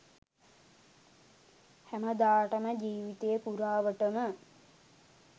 හැමදාටම ජීවිතේ පුරාවටම